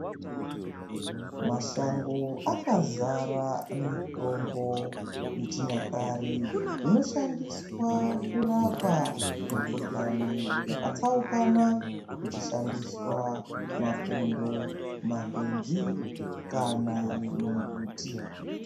Mashango akazara mitombo yechinya kare inoshandiswa kurapa mikuhlani yakatsaukana. Kuchishandiswa mapundo, makwenzi kana mimbuti.